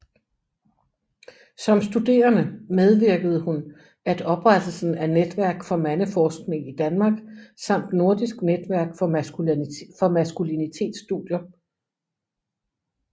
Som studerende medvirkede hun at oprettelsen af Netværk for Mandeforskning i Danmark samt Nordisk netværk for Maskulinitetsstudier